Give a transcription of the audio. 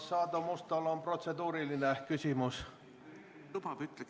Kas Aadu Mustal on protseduuriline küsimus?